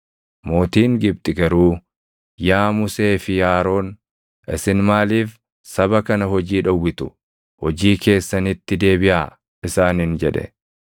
Mootiin Gibxi garuu, “Yaa Musee fi Aroon, isin maaliif saba kana hojii dhowwitu? Hojii keessanitti deebiʼaa!” isaaniin jedhe.